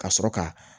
Ka sɔrɔ ka